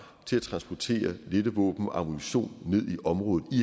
til at transportere lette våben og ammunition ned i området i